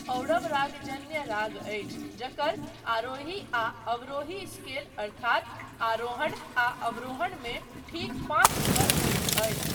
औडव रागजन्य राग अछि जकर आरोही आ अवरोही स्केल अर्थात अरोहण आ अवरोहण मे ठीक पाँच स्वर होइत अछि।